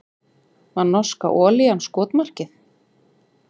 Var norska olían skotmarkið